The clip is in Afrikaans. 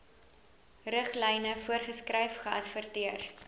riglyne voorgeskryf geadverteer